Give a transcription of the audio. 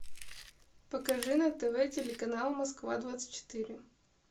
покажи на тв телеканал москва двадцать четыре